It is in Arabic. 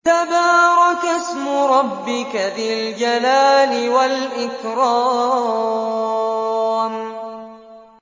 تَبَارَكَ اسْمُ رَبِّكَ ذِي الْجَلَالِ وَالْإِكْرَامِ